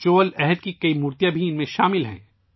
چول دور کی کئی مورتیاں بھی ، ان میں شامل ہیں